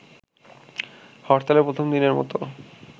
হরতালের প্রথম দিনের মতো